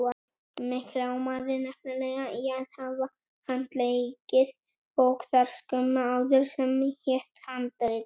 Mig rámaði nefnilega í að hafa handleikið bók þar skömmu áður sem hét Handrit.